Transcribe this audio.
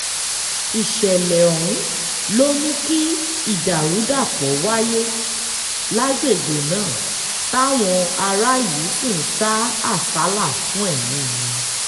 ìṣẹ̀lẹ̀ ọ̀hún ló mú kí ìdàrúdàpọ̀ wáyé lágbègbè náà táwọn aráàlú sì ń sá àsálà fún ẹ̀mí wọn